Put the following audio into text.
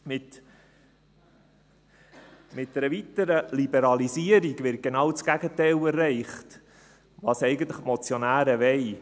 Mit einer weiteren Liberalisierung wird genau das Gegenteil von dem erreicht, was die Motionäre eigentlich wollen: